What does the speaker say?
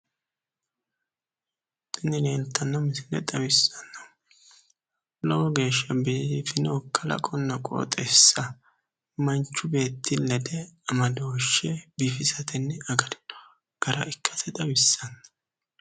tini leeltanno misile xawissannohu lowo geeshsha biifino kalaqonna qooxeessa manchu beetti lede amadooshshe biifisatenni agarino gara ikkasi xawissanno.